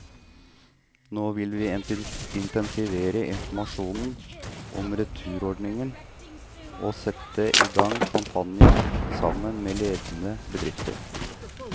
Nå vil vi intensivere informasjonen om returordningen og sette i gang kampanjer, sammen med ledende bedrifter.